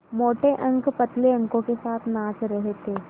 मोटे अंक पतले अंकों के साथ नाच रहे थे